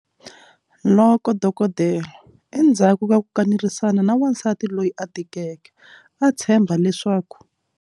Loko dokodela, endzhaku ka ku kanerisana na wansati loyi a tikeke, a tshemba leswaku.